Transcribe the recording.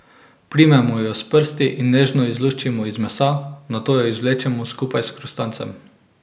Primemo jo s prsti in nežno izluščimo iz mesa, nato jo izvlečemo skupaj s hrustancem.